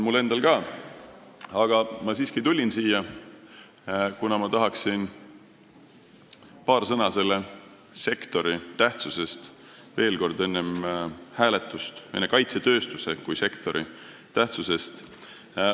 Aga ma siiski tulin siia, kuna tahan veel kord enne hääletust öelda paar sõna kaitsetööstuse kui sektori tähtsuse kohta.